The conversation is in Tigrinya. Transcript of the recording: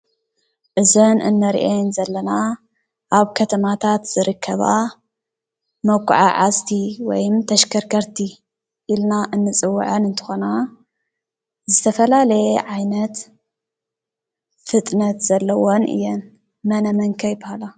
እዘን ንሪአን ዘለና ኣብ ከተማታት ዝርከባ መጉዓዓዝቲ ወይ ተሽከርከቲ ኢልና እንፅወዐን እንትኾና ዝተፈላለየ ዓይነት ፍጥነት ዘለወን እየን:: መነ መን ከ ይበሃላ ?